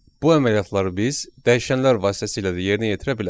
Bu əməliyyatları biz dəyişənlər vasitəsilə də yerinə yetirə bilərik.